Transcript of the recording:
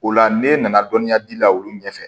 O la n'e nana dɔnniya di la olu ɲɛfɛ